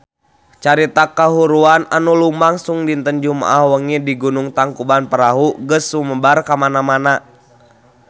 Carita kahuruan anu lumangsung dinten Jumaah wengi di Gunung Tangkuban Perahu geus sumebar kamana-mana